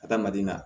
Adamaden na